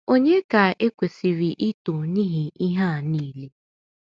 Ònye ka e kwesịrị ito n’ihi ihe a nile?